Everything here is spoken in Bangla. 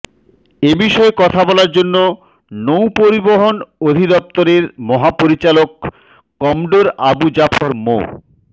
এ বিষয়ে কথা বলার জন্য নৌপরিবহন অধিদপ্তরের মহাপরিচালক কমডোর আবু জাফর মো